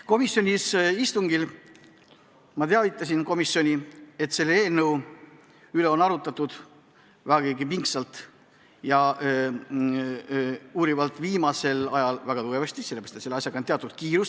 Komisjoni istungil ma teavitasin komisjoni, et seda eelnõu on arutatud vägagi pingsalt, uurivalt ja tugevasti, sellepärast, et sellega on kiire.